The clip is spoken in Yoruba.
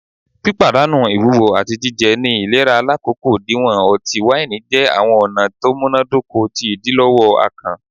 Pipadanu iwuwo ati jijẹ ni ilera lakoko diwọn ọti-waini jẹ awọn ọna to munadoko ti idilọwọ akàn